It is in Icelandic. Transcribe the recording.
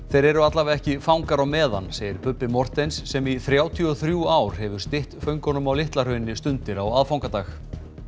þeir eru allavega ekki fangar á meðan segir Bubbi Morthens sem í þrjátíu og þrjú ár hefur stytt föngunum á Litla Hrauni stundir á aðfangadag